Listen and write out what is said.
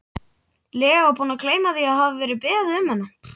lega búinn að gleyma því að hafa beðið um hana.